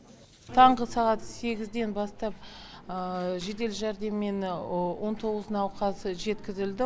таңғы сағат сегізден бастап жедел жәрдеммен он тоғыз науқас жеткізілді